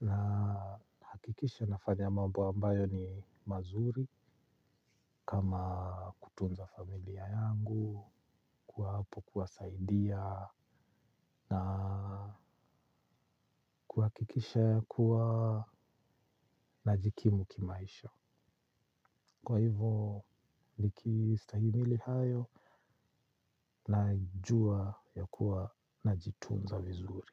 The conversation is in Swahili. nahakikisha nafanya mambo ambayo ni mazuri. Kama kutunza familia yangu, kuwa hapo kuwa saidia na kuhakikisha kuwa najikimu kimaisha. Kwa hivyo nikistahimili hayo. Najua ya kuwa na jitunza vizuri.